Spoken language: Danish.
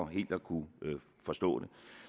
helt at kunne forstå det